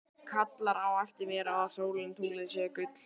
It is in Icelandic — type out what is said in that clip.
Kallar á eftir mér að sólin og tunglið séu gull.